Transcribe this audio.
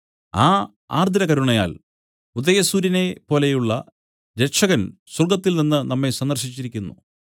ആ ആർദ്രകരുണയാൽ ഉദയസൂര്യനെ പോലെയുള്ള രക്ഷകൻ സ്വർഗ്ഗത്തിൽനിന്നു നമ്മെ സന്ദർശിച്ചിരിക്കുന്നു